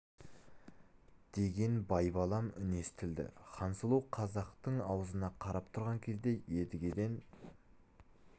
деген байбалам үн естілді хансұлу қазақтың аузына қарап тұрған кезде едігеден